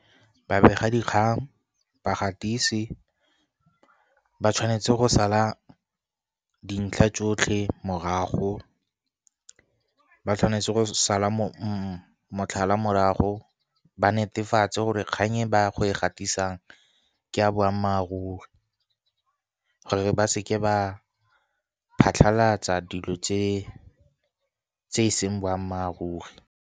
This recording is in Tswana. Babegadikgang, bagatisi ba tshwanetse go sala dintlha tsotlhe morago, ba tshwanetse go sala motlhala morago ba netefatse gore kgang e ba go e gatisiwang ke a boammaaruri, gore ba seke ba phatlhalatsa dilo tse e seng boammaaruri.